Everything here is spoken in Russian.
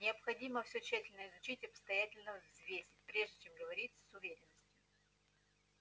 необходимо всё тщательно изучить и обстоятельно взвесить прежде чем говорить с уверенностью